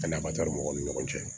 Ani mɔgɔw ni ɲɔgɔn cɛ